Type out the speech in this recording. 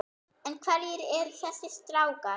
En hverjir eru þessir strákar?